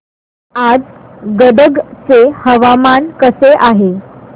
आज गदग चे हवामान कसे आहे